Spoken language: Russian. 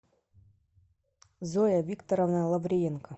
зоя викторовна лавриенко